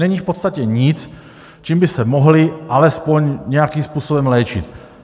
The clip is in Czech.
Není v podstatě nic, čím by se mohli alespoň nějakým způsobem léčit.